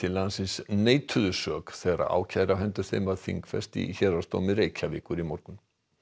landsins neituðu sök þegar ákæra á hendur þeim var þingfest í Héraðsdómi Reykjavíkur í morgun